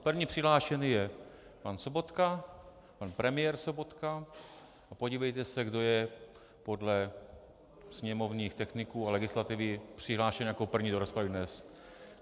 První přihlášený je pan Sobotka, pan premiér Sobotka, a podívejte se, kdo je podle sněmovních techniků a legislativy přihlášen jako první do rozpravy dnes.